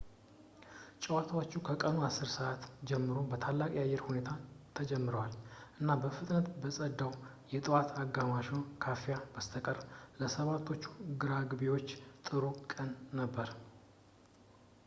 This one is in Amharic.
ጨዋታዎቹ ከቀኑ 10:00 ሰዓት ጀምሮ በታላቅ የአየር ሁኔታ ተጀምረዋል እና በፍጥነት ከጸዳው ከጠዋት አጋማሹ ካፊያ በስተቀር ለ 7ቶቹ ራግቢዎች ጥሩ ቀን ነበር